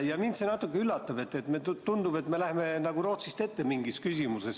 Mind natuke üllatab, et tundub, et me läheme selles küsimuses nagu Rootsist ette.